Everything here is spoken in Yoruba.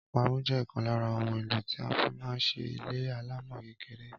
Ọpaarun jé ìkan lára ohun èlò tí a fi man ṣe ilé alámò kékeré